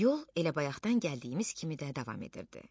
Yol elə bayaqdan gəldiyimiz kimi də davam edirdi.